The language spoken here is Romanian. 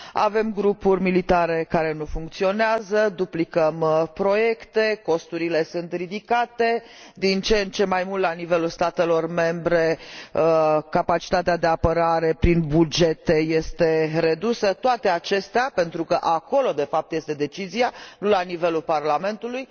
Avem grupuri militare care nu funcționează, duplicăm proiecte, costurile sunt ridicate, din ce în ce mai mult la nivelul statelor membre capacitatea de apărare prin bugete este redusă, toate acestea pentru că acolo, de fapt, este decizia, și nu la nivelul Parlamentului.